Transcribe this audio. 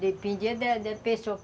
Dependia da da pessoa.